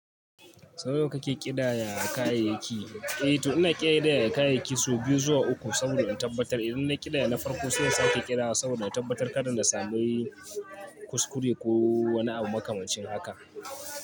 Sau nawa kake ƙidaya kayayyaki? Eh to ina ƙidaya kayayyaki sau biyu zuwa uku saboda in tabbatar idan na ƙidaya na farko sai in sake ƙidawa saboda in tabbatar kada na sami kuskure ko wani abu makamacin haka.